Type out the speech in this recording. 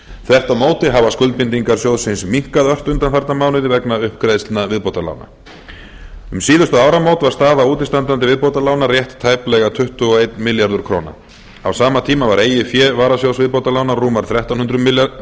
þvert á móti hafa skuldbindingar sjóðsins minnkað ört undanfarna mánuði vegna uppgreiðslna viðbótarlána um síðustu áramót var staða útistandandi viðbótarlána rétt tæplega tuttugu og einn milljarður króna á sama tíma var eigið fé varasjóðs viðbótarlána rúmar þrettán hundruð